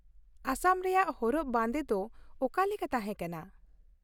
ᱟᱥᱟᱢ ᱨᱮᱭᱟᱜ ᱦᱚᱨᱚᱜ ᱵᱟᱸᱫᱮ ᱫᱚ ᱚᱠᱟᱞᱮᱠᱟ ᱛᱟᱦᱮᱸ ᱠᱟᱱᱟ ?